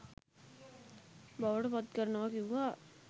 බවට පත්කරනවා කිව්වා.